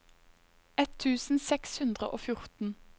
ett tusen seks hundre og fjorten